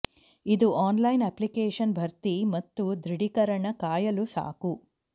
ಇದು online application ಭರ್ತಿ ಮತ್ತು ದೃಢೀಕರಣ ಕಾಯಲು ಸಾಕು